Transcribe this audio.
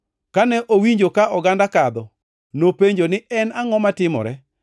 Kane owinjo ka oganda kadho, nopenjo ni en angʼo matimore.